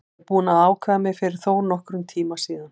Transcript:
Ég er búinn að ákveða mig fyrir þónokkrum tíma síðan.